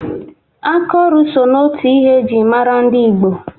Aka ọrụ so n'otu ihe e ji mara dị Igbo